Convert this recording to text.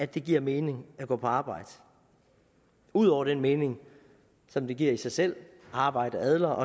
det giver mening at gå på arbejde ud over den mening som det giver i sig selv altså at arbejde adler